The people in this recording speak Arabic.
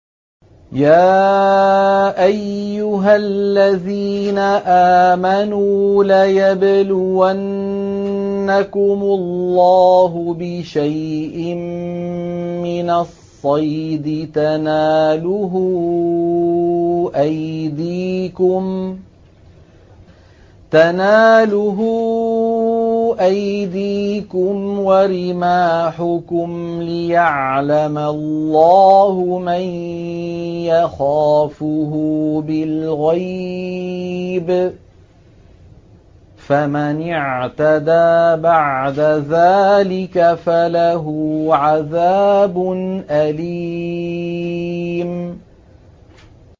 يَا أَيُّهَا الَّذِينَ آمَنُوا لَيَبْلُوَنَّكُمُ اللَّهُ بِشَيْءٍ مِّنَ الصَّيْدِ تَنَالُهُ أَيْدِيكُمْ وَرِمَاحُكُمْ لِيَعْلَمَ اللَّهُ مَن يَخَافُهُ بِالْغَيْبِ ۚ فَمَنِ اعْتَدَىٰ بَعْدَ ذَٰلِكَ فَلَهُ عَذَابٌ أَلِيمٌ